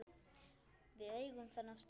Við eigum þennan stað